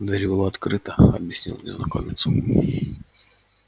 дверь была открыта объяснил незнакомец